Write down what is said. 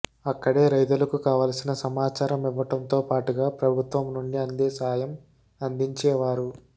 అక్కడే రైతులకు కావాల్సిన సమాచారం ఇవ్వటంతో పాటుగా ప్రభుత్వం నుండి అందే సాయం అందించేవారు